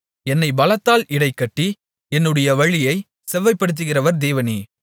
என்னைப் பலத்தால் இடைகட்டி என்னுடைய வழியைச் செவ்வைப்படுத்துகிறவர் தேவனே